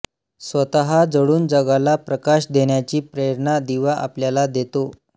स्वतः जळून जगाला प्रकाश देण्याची प्रेरणा दिवा आपल्याला देतो